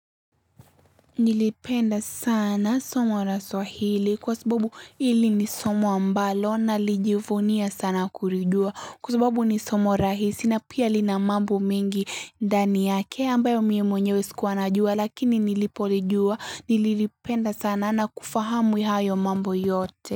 Nilipenda sana somo la swahili kwa sababu hili ni somo ambalo nalijivunia sana kulijua kwa sababu ni somo rahisi na pia lina mambo mengi ndani yake ambayo mie mwenyewe sikuwa najua lakini nilipolijua nililipenda sana na kufahamu hayo mambo yote.